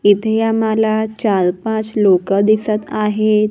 इथे आम्हाला चार पाच लोकं दिसत आहेत.